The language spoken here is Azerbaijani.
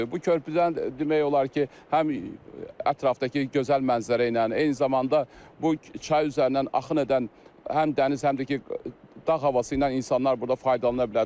Bu körpüdən demək olar ki, həm ətrafdakı gözəl mənzərə ilə, eyni zamanda bu çay üzərindən axın edən həm dəniz, həm də ki dağ havası ilə insanlar burda faydalana bilər.